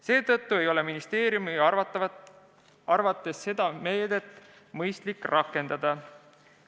Seetõttu ei ole ministeeriumi arvates seda meedet mõistlik rakendada.